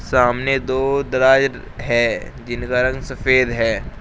सामने दो दराज है जिनका रंग सफेद है।